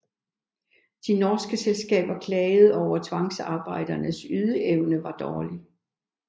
De norske selskaber klagde over at tvangsarbejdernes ydeevne var dårlig